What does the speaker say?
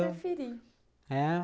A que você preferir. É?